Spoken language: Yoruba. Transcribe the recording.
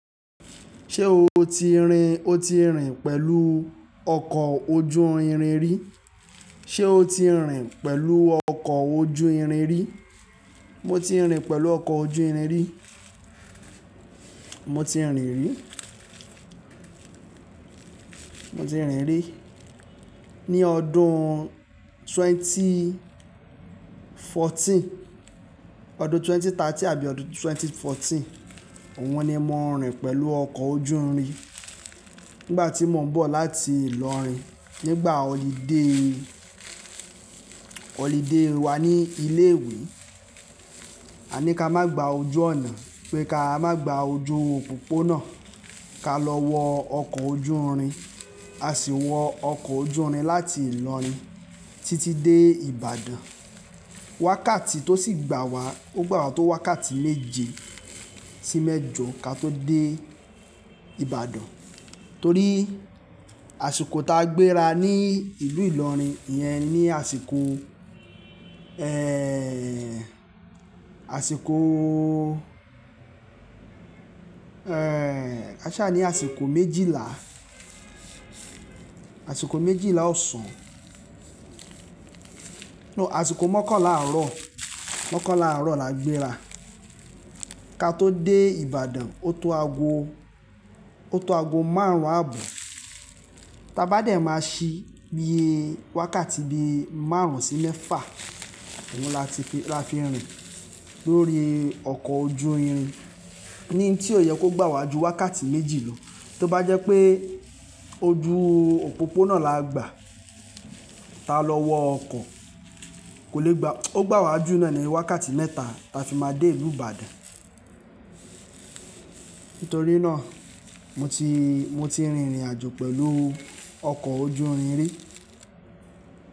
Ṣé o ti rin, o ti rìn pẹ̀lú ọkọ̀ ojú irin rí? Ṣé o ti rìn pẹ̀lú ọkọ̀ ojú irin rí? Mo ti rìn pẹ̀lú ọkọ̀ ojú irin rí. Mo ti rìn rí. Mo ti rìn rí. Ni ọdún twenty fourteen, ọdún twenty thirteen àbí ọdún twenty fourteen. Òhun ni mo rìn pẹ̀lú ọkọ̀ ojú irin. Nígbà tí mò ń bọ̀ láti Ìlọrin nígbà holiday, holiday wa ní ilé ìwé. A ní ká má gba ojú ọ̀nà pé ká má gba ojú òpópónà, ká lọ wọ ọkọ̀ ojú irin. A sì wọ ọkọ̀ ojú irin láti Ìlọrin títí dé Ìbàdàn. Wákàtí tó sì gbà wá, ó gbà wá tó wákàtí méje sí mẹ́jọ ká tó dé Ìbàdàn. Torí àsìkò ta gbéra ní ìlú Ìlọrin yẹn ni àsìkò, ẹ́ẹ́, àsìkò, ẹ́ẹ́, káṣá ni àsìkò méjìlá, àsìkò méjìlá ọ̀sán. No, àsìkò mọ́kànlá àárọ̀, mọ́kànlá àárọ̀ la gbéra. Ka tó dé Ìbàdàn ó tó ago, ó tó ago márùn-ún àbo. Ta bá dè máa ṣí bí i wákàtí bí i márùn-ún sí mẹ́fà. Òhun la ti fi, la fi rìn lórí ọkọ̀ ojú irin. Ni tí kò yẹ kó gbà wá ju wákàtí méjì lọ. Tí ó bá jẹ́ pé ojú òpópónà la gbà, ta lọ wọ ọkọ̀ kò lè gba-- ó gbà wá ju náà ní wákàtí mẹ́ta ta fi máa dé ìlú Ìbàdàn. Nítorí náà mo ti, mo ti rìnrìn àjò pẹ̀lú ọkọ̀ ojú irin rí.